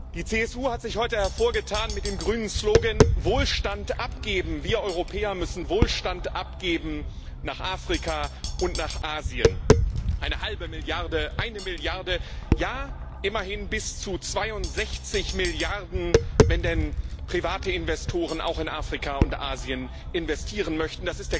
Die CSU hat sich heute mit dem grünen Slogan Wohlstand abgeben hervorgetan. Wir Europäer müssen Wohlstand abgeben nach Afrika und nach Asien. Eine halbe Milliarde, eine Milliarde, ja immerhin bis zu 62 Milliarden, wenn denn private Investoren auch in Afrika und Asien investieren möchten.